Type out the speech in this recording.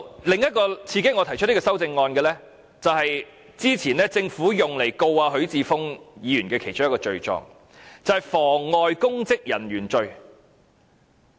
另一個刺激我提出這項修正案的原因，是之前政府用以控告許智峯議員的其中一個罪狀，就是妨礙公職人員罪。